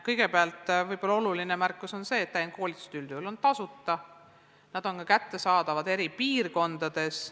Kõigepealt on võib-olla oluline märkus see, et täienduskoolitused on üldjuhul tasuta, nad on ka kättesaadaval eri piirkondades.